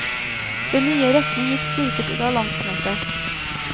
Den nye retning gikk styrket ut av landsmøtet.